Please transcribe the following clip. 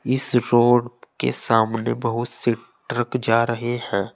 इस रोड के सामने बहुत से ट्रक जा रहे हैं।